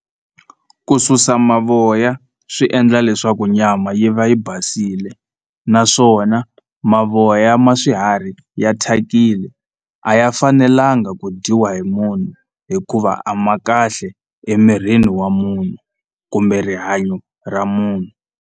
Ku susa mavoya swi endla leswaku nyama yi va yi basile naswona mavoya ma swiharhi ya thyakile a ya fanelanga ku dyiwa hi munhu hikuva a ma kahle emirini wa munhu kumbe rihanyo ra munhu.